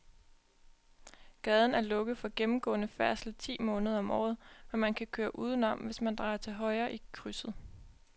Gaden er lukket for gennemgående færdsel ti måneder om året, men man kan køre udenom, hvis man drejer til højre i krydset.